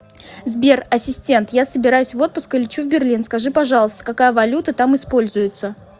сбер ассистент я собираюсь в отпуск и лечу в берлин скажи пожалуйста какая валюта там используется